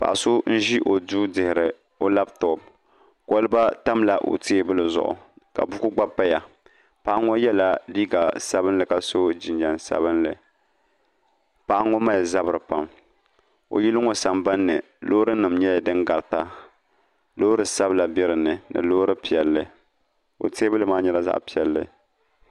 Paɣa so n ʒi o duu dihiri o labtop kolba tamla o teebuli zuɣu ka buku gba paya paɣa ŋo yɛla liiga sabinli ka so jinjɛm sabinli paɣa ŋo mali zabiri pam o yili ŋo sambanni loori nim nyɛla din garita loori sabila bɛ dinni ni Loori piɛlli o teebuli maa nyɛla zaɣ piɛlli